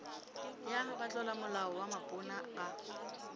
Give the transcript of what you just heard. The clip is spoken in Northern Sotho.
ya batlolamolao wa mapono a